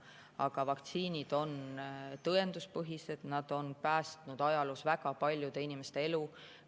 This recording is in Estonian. Aga vaktsiinid on tõenduspõhised, nad on päästnud ajaloo jooksul väga paljude inimeste elu.